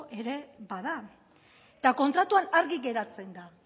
ere bada eta kontratuan argi geratzen da